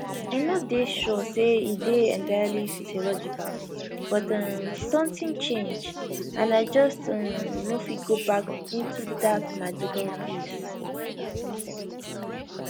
i no dey sure say e dey entirely physiological but um sometin change and i just um no fit go back into dat magical place